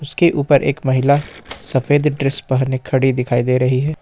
उसके ऊपर एक महिला सफेद ड्रेस पहने खड़ी दिखाई दे रही है।